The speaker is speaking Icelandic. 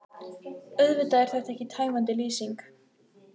Auðvitað er þetta ekki tæmandi lýsing.